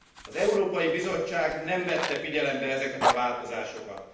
Az Európai Bizottság nem vette figyelembe ezeket a változásokat.